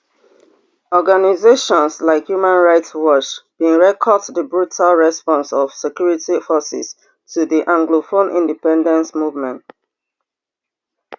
organisations like human rights watch bin record di brutal response of security forces to di anglophone independence movement